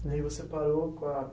E aí você parou com a